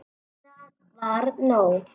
Það var nóg.